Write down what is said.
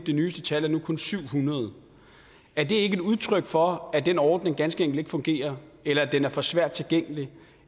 nyeste tal er nu kun 700 er det ikke et udtryk for at den ordning ganske ikke fungerer eller at den er for svært tilgængelig